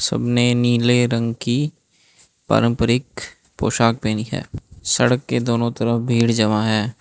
सबने नीले रंग की पारंपरिक पोषाक पहनी है सड़क के दोनों तरफ भीड़ जमा है।